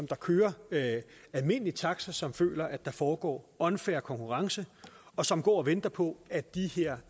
der kører almindelig taxa som føler at der foregår unfair konkurrence og som går og venter på at de her